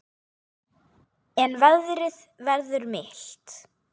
En veðrið verður milt.